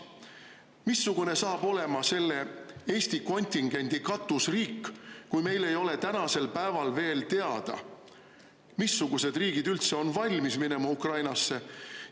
Missugune saab olema selle Eesti kontingendi katusriik, kui meil ei ole tänasel päeval veel teada, missugused riigid üldse on valmis minema Ukrainasse?